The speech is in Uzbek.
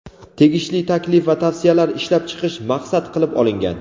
tegishli taklif va tavsiyalar ishlab chiqish maqsad qilib olingan.